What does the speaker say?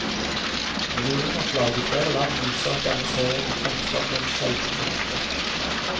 Millionopplag i flere land viser at denne serien fengsler på en sjelden måte.